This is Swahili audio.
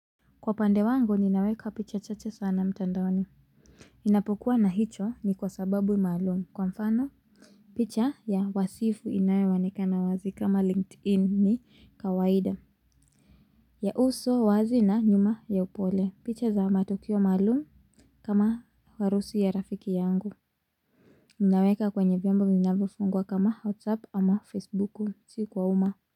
Kwa pande wangu ninaweka picha chache sana mtandaoni. Ninapokuwa na hicho ni kwa sababu maalum. Kwa mfano, picha ya wasifu inayoonekana wazi kama LinkedIn ni kawaida. Ya uso wazi na nyuma ya upole. Picha za matokeo maalum kama harusi ya rafiki yangu. Ninaweka kwenye vyombo vinavyofungwa kama WhatsApp ama Facebuku. Si kwa umma.